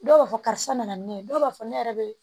Dɔw b'a fɔ karisa nana ne ye dɔw b'a fɔ ne yɛrɛ be